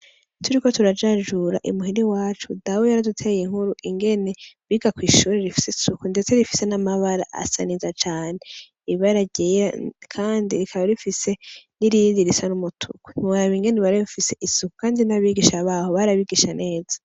Turiko turajajura imuhira iwacu dawe yaraduteye inkuru ingene biga kw'ishuri rifise isuku ndetse rifise n'amabara asa neza cane ibara ryera kandi rikaba rifise n'irindi risa n'umutuku ntiworaba ingene riba rifise isuku kandi n'abigisha baho barabigisha neza.